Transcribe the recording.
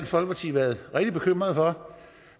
folkeparti været rigtig bekymret for